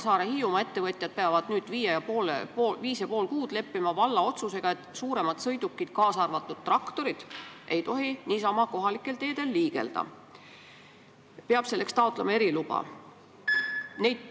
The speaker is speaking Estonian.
Hiiumaa ettevõtjad aga peavad nüüd viis ja pool kuud leppima valla otsusega, et suuremad sõidukid, kaasa arvatud traktorid, ei tohi niisama kohalikel teedel liigelda, selleks peab taotlema eriluba.